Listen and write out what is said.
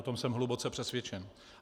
O tom jsem hluboce přesvědčen.